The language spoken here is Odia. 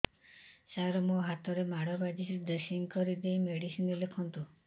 ସାର ମୋ ହାତରେ ମାଡ଼ ବାଜିଛି ଡ୍ରେସିଂ କରିଦେଇ ମେଡିସିନ ଲେଖନ୍ତୁ